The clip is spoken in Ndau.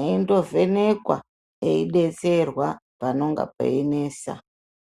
eindovhenekwa eidetserwa panonga peinetsa.